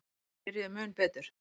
Þeir byrjuðu mun betur.